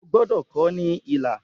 O gbọdọ kọ ọ ni ilà!